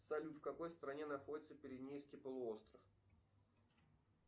салют в какой стране находится пиренейский полуостров